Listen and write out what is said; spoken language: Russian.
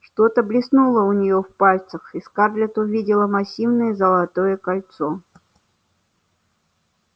что-то блеснуло у неё в пальцах и скарлетт увидела массивное золотое кольцо